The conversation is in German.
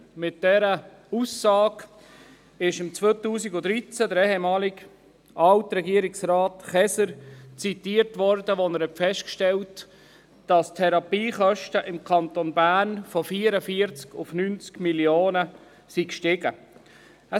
Mit dieser Aussage wurde 2013 der ehemalige Regierungsrat Käser zitiert, als er festgestellt hatte, dass die Therapiekosten im Kanton Bern von 44 auf 99 Mio. Franken angestiegen waren.